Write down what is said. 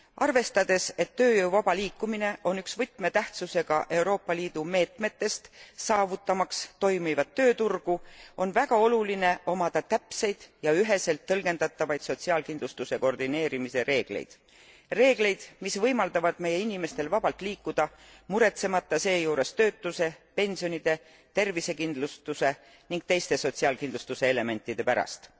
Arvestades, et tööjõu vaba liikumine on üks võtmetähtsusega Euroopa Liidu meetmetest toimiva tööturu saavutamiseks, on väga oluline omada täpseid ja üheselt tõlgendatavaid sotsiaalkindlustuse koordineerimise reegleid reegleid, mis võimaldavad meie inimestel vabalt liikuda, muretsemata seejuures töötuse, pensionide, tervisekindlustuse ning teiste sotsiaalkindlustuse elementide pärast.